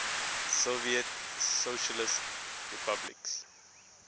soviet socialist republics